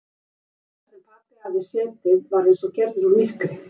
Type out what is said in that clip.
Stóllinn þar sem pabbi hafði setið var eins og gerður úr myrkri.